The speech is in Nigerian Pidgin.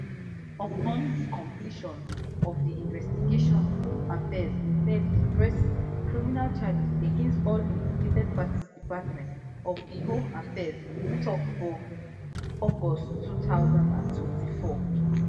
upon di completion of di investigation home affairs in ten d to press criminal charges against all implicated parties department of home affairs tok for august two thousand and twenty-four